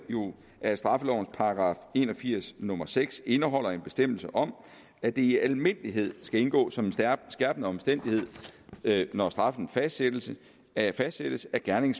at straffelovens § en og firs nummer seks indeholder en bestemmelse om at det i almindelighed skal indgå som en skærpende omstændighed når straffen fastsættes at fastsættes at gerningen